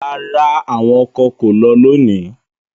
Rara, awọn ọkọ ko lọ loni